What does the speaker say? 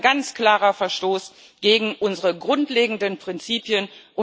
Das ist ein ganz klarer Verstoß gegen unsere grundlegenden Prinzipien.